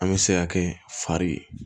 An bɛ se ka kɛ fari